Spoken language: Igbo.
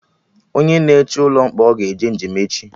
Onye na eche ụlọ mkpọrọ ga-eje njem echi